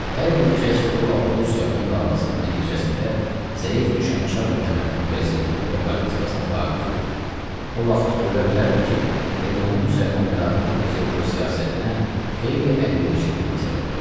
Hər bir kəs ki, o vaxt rus-yapon davasının nəticəsində zəif düşən çar hökumətinin vəziyyətinə və politikasına vaqif idi, o vaxt görə bilərdi ki, erməni-müsəlman ədavəti Peterburq siyasətinə xeyli əlverişli bir məsələ oldu.